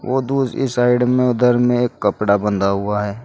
वो दूसरी साइड में उधर में एक कपड़ा बंधा हुआ है।